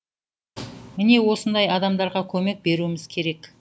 міне осындай адамдарға көмек беруіміз керек